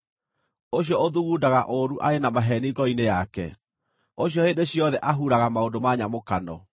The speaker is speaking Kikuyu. ũcio ũthugundaga ũũru arĩ na maheeni ngoro-inĩ yake: ũcio hĩndĩ ciothe ahuraga maũndũ ma nyamũkano.